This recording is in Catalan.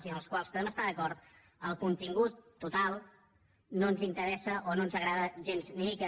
i amb els quals podem estar d’acord el contingut total no ens interessa o no ens agrada gens ni mica